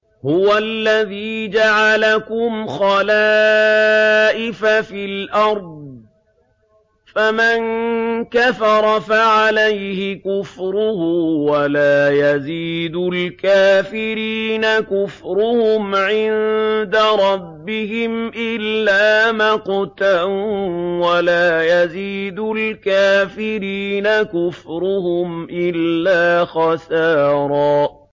هُوَ الَّذِي جَعَلَكُمْ خَلَائِفَ فِي الْأَرْضِ ۚ فَمَن كَفَرَ فَعَلَيْهِ كُفْرُهُ ۖ وَلَا يَزِيدُ الْكَافِرِينَ كُفْرُهُمْ عِندَ رَبِّهِمْ إِلَّا مَقْتًا ۖ وَلَا يَزِيدُ الْكَافِرِينَ كُفْرُهُمْ إِلَّا خَسَارًا